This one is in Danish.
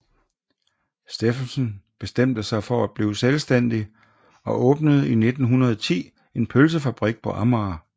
Steffensen bestemte sig for at blive selvstændig og åbnede i 1910 en pølsefabrik på Amager